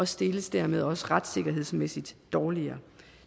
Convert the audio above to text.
stilles dermed også retssikkerhedsmæssigt dårligere